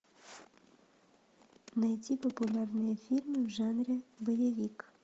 найди популярные фильмы в жанре боевик